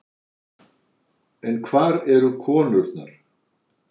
En hvar eru konurnar?